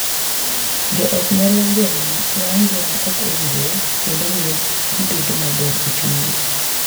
Jo ot nyalo geng’o ng’anjo ma ok owinjore kendo miyo gibedo maber e chunygi.